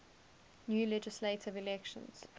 new legislative elections